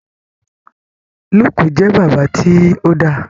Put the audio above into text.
Luke jẹ bàbá ti o dá.